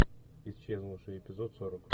исчезнувшие эпизод сорок